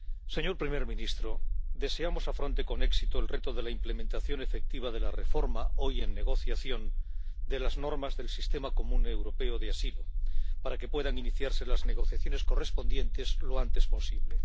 señor primer ministro, deseamos que afronte con éxito el reto de la implementación efectiva de la reforma —hoy en negociación— de las normas del Sistema Europeo Común de Asilo, para que puedan iniciarse las negociaciones correspondientes lo antes posible.